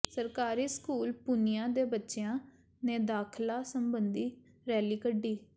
ਸਰਕਾਰੀ ਸਕੂਲ ਪੂਨੀਆਂ ਦੇ ਬੱਚਿਆਂ ਨੇ ਦਾਖਲਾ ਸਬੰਧੀ ਰੈਲੀ ਕੱਢੀ